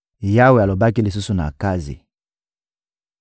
Yawe alobaki lisusu na Akazi: